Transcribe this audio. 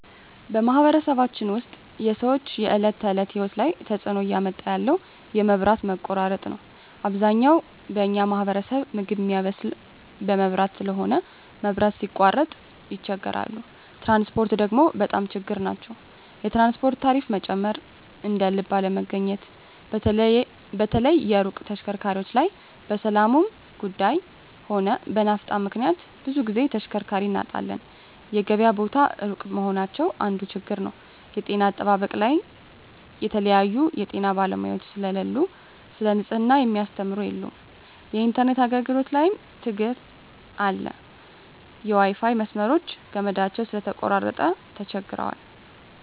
በማኅበረሰባችን ውስጥ የሰዎች የዕለት ተእለት ህይወት ላይ ትጽእኖ እያመጣ ያለው የመብት መቆራረጥ ነዉ አብዛኛው በኛ ማህበረሰብ ምግብ ሚያበስል በመብራት ስለሆነ መብራት ሲቃረጥ ይቸገራሉ ትራንስፖርት ደግሞ በጣም ችግር ናቸዉ የትራንስፖርት ታሪፋ መጨመር እደልብ አለመገኘት በተለይ የሩቅ ተሽከርካሪዎች ላይ በሠላሙም ጉዱይ ሆነ በናፍጣ ምክንያት ብዙ ግዜ ተሽከርካሪ እናጣለን የገበያ ቦታ እሩቅ መሆናቸው አንዱ ችግር ነዉ የጤና አጠባበቅ ላይም የተለያዩ የጤና ባለሙያዎች ስለሉ ሰለ ንጽሕና ሚያስተምሩ የሉም የኢንተርነት አገልግሎት ላይም ትግር አለ የዋይፋይ መስመሮች ገመዳቸው ስለተቆራረጠ ተቸግረዋል